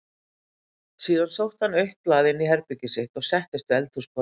Síðan sótti hann autt blað inní herbergið sitt og settist við eldhúsborðið.